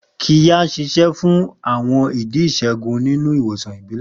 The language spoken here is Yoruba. Qirya ń ṣiṣẹ́ fún àwọn ìdí ìṣègùn nínú ìwòsàn ìbílẹ̀.